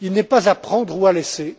Il n'est pas à prendre ou à laisser.